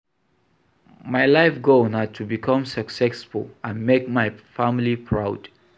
My life goal na to become successful and make my family proud.